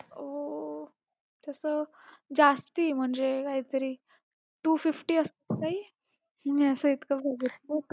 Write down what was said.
तसं जास्ती म्हणजे कायतरी two fifty मी असं एकदा बघितलं होतं.